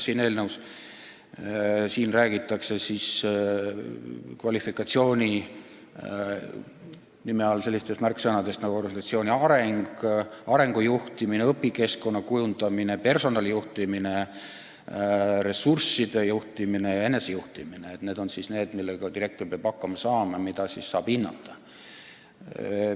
Kvalifikatsiooni puhul peetakse silmas selliseid märksõnu nagu organisatsiooni areng, arengu juhtimine, õpikeskkonna kujundamine, personalijuhtimine, ressursside juhtimine ja enesejuhtimine – need on asjad, millega direktor peab hakkama saama ja mida saab hinnata.